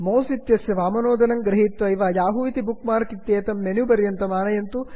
mouse इत्यस्य वाम नोदनं गृहीत्वैव याहू इति बुक् मार्क् इत्येतं मेन्यु पर्यन्तम् आनयन्तु